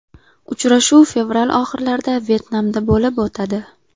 Uchrashuv fevral oxirlarida Vyetnamda bo‘lib o‘tadi.